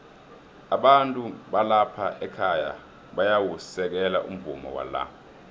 abantu balapha ekhaya bayawusekela umvumo wala